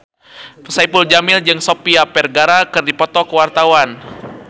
Saipul Jamil jeung Sofia Vergara keur dipoto ku wartawan